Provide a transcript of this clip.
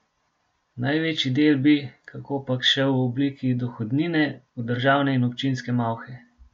Največji del bi, kakopak, šel v obliki dohodnine v državne in občinske malhe.